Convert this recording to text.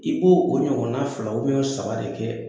I b'o o ɲɔgɔnna fila o saba de kɛ